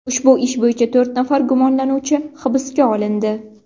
Ushbu ish bo‘yicha to‘rt nafar gumonlanuvchi hibsga olindi.